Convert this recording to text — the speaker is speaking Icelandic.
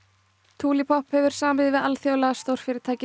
tulipop hefur samið við alþjóðlega stórfyrirtækið